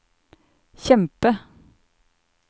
kjempe